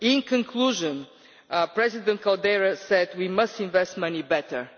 In conclusion, President Caldeira said we must invest money better.